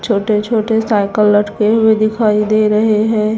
छोटे छोटे साइकिल लटके हुए दिखाई दे रहे हैं।